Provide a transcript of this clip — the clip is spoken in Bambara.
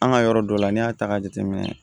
An ka yɔrɔ dɔ la n'i y'a ta k'a jateminɛ